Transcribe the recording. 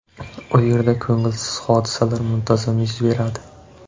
U yerda ko‘ngilsiz hodisalar muntazam yuz beradi.